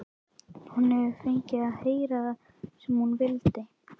Hún hefur fengið að heyra það sem hún vildi.